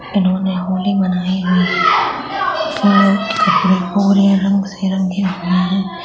इन्होने ने होली मनाये हुए है वाइट कपड़े पुरे रंग से रंगे हुए है।